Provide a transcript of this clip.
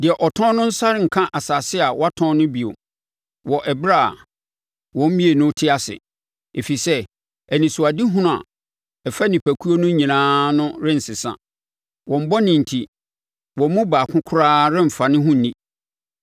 Deɛ ɔtɔn no nsa renka asase a watɔn no bio wɔ ɛberɛ a wɔn mmienu te ase, Ɛfiri sɛ anisoadehunu a ɛfa nnipakuo no nyinaa no rensesa. Wɔn bɔne enti, wɔn mu baako koraa remfa ne ho nni.